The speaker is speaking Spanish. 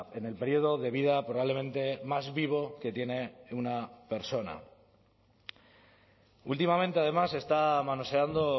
en el periodo de vida probablemente más vivo que tiene una persona últimamente además se está manoseando